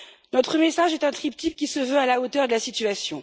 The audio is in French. Notre message est un triptyque qui se veut à la hauteur de la situation.